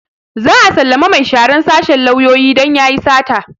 Za a sallame mai sharan sashen lauyoyi don yayi sata